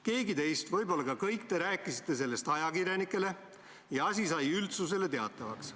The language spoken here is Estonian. Keegi teist rääkis sellest ajakirjanikele – võib-olla rääkisite teie kõik – ja asi sai üldsusele teatavaks.